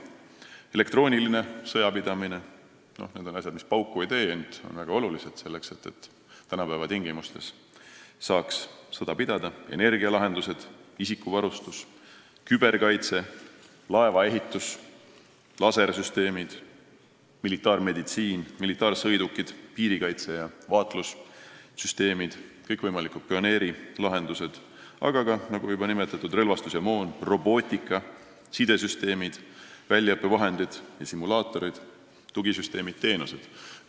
Näiteks elektrooniline sõjapidamine – asjad, mis pauku ei tee, ent on väga olulised selleks, et tänapäeva tingimustes saaks sõda pidada –, energialahendused, isikuvarustus, küberkaitse, laevaehitus, lasersüsteemid, militaarmeditsiin, militaarsõidukid, piirikaitse- ja vaatlussüsteemid, kõikvõimalikud pioneerilahendused, samuti juba nimetatud relvastus ja moon, robootika, sidesüsteemid, väljaõppevahendid ja simulaatorid, muud tugisüsteemid ja -teenused.